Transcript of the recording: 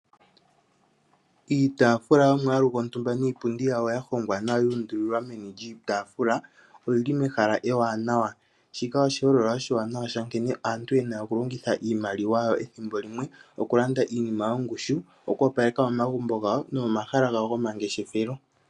Iitaafula yomwaalu gontumba niipundi yawo ya hongwa nawa yu undulilwa meni lyiitaafula oyili mehala ewanawa. Shika oshiholelwa oshiwanawa sha nkene aantu yena okulongitha iimaliwa yawo ethimbo limwe okulanda iinima yongushu oku opaleka momagumbo gawo nomomahala gawo gomangeshefelo.